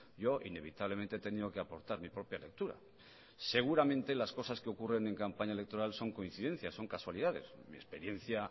yo inevitablemente he tenido que aportar mi propia lectura seguramente las cosas que ocurren en campaña electoral son coincidencias son casualidades en mi experiencia